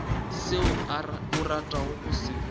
seo o ratago go se